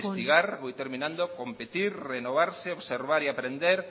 voy terminando competir renovarse observar y aprender